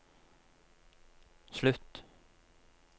slutt